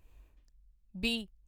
B